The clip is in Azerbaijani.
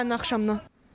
Dünənin axşamından.